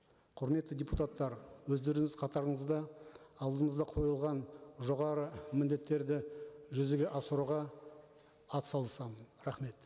құрметті депутаттар өздеріңіз қатарыңызда алдымызда қойылған жоғары міндеттерді жүзеге асыруға атсалысамын рахмет